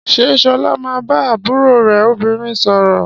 Ṣé Ṣọlá máa ń bá àbúrò rẹ̀ obìnrin sọ̀rọ̀?